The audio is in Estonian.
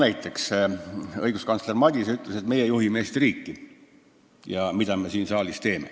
Näiteks ütles õiguskantsler Madise, et meie juhime Eesti riiki ja mida me siin saalis teeme.